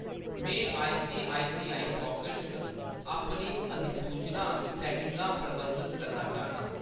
मैं ICICI Pockets च अपनी अधिसूचना सैट्टिंगां प्रबंधत करना चाह्‌न्नां।